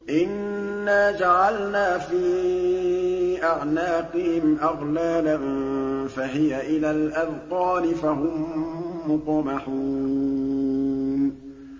إِنَّا جَعَلْنَا فِي أَعْنَاقِهِمْ أَغْلَالًا فَهِيَ إِلَى الْأَذْقَانِ فَهُم مُّقْمَحُونَ